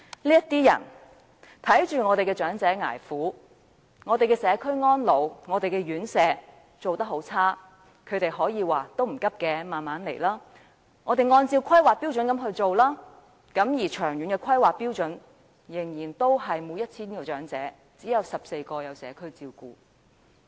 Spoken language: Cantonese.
這些人眼見長者捱苦，社區安老院舍水準很差，他們說這些並非急需，可以慢慢按着《香港規劃標準與準則》去做，但根據規劃標準，長遠而言，仍然是每 1,000 名長者只有14名可享有社區照顧。